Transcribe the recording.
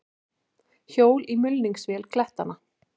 Hjól í mulningsvél klettanna.